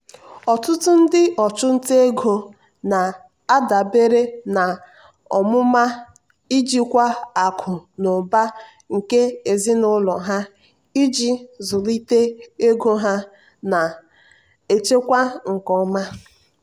ọtụtụ ndị ọchụnta ego na-adabere n'ọmụma njikwa akụ na ụba nke ezinụlọ ha iji zụlite ego ha na-echekwa nke ọma.